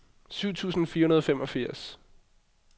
syv tusind fire hundrede og femogfirs